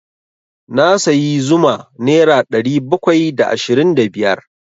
Na sayi zuma nera ɗari bakwai da ashirin da biyar.